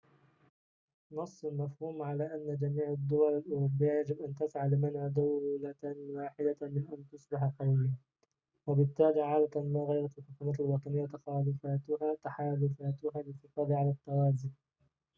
نص المفهوم على أن جميع الدول الأوروبية يجب أن تسعى لمنع دولة واحدة من أن تصبح قوية وبالتالي عادةً ما غيرت الحكومات الوطنية تحالفاتها للحفاظ على التوازن